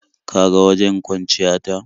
Ka ga wajen kwanciya ta.